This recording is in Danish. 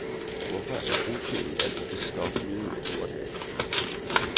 Hvorfor er brostenen altid det stof, nyheden er gjort af.